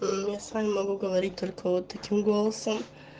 не могу говорить только вот таким голосом